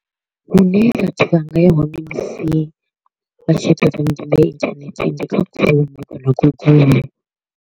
Hune vhathu vha nga ya hone musi vha tshi ita dzi ya internet ndi kha Chrome kana Google.